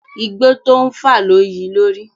Igbó tó ń fà lo yi lórí.